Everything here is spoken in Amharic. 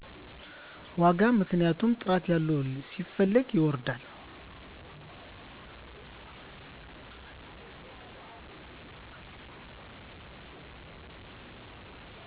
ዋጋ ምክንያቱም ጥራት ያለው ሲፈለግ ይወደዳል